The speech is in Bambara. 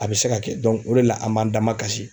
A bɛ se ka kɛ o de la an m'an damakasi.